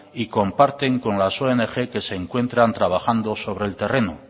y comparten con las ong que se encuentran trabajando sobre el terreno